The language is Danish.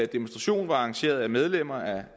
demonstration var arrangeret af medlemmer af